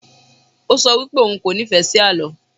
O sọ wipe òun kò nífẹ́ sí àlọ́.